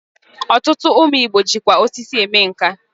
Otutu umu Igbo jikwa osisi eme nka.